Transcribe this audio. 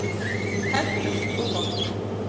Hentugt og gott.